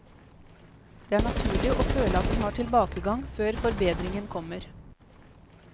Det er naturlig å føle at en har tilbakegang før forbedringen kommer.